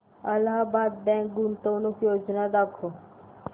Allahabad bank गुंतवणूक योजना दाखव